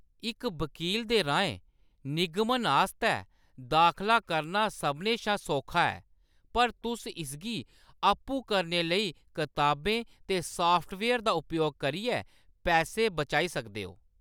इक वक़ील दे राहें निगमन आस्तै दाखला करना सभनें शा सौखा ऐ, पर तुस इसगी आपूं करने लेई कताबें ते साफ्टवेयर दा उपयोग करियै पैसे बचाई सकदे हो।